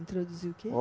Introduzir o quê?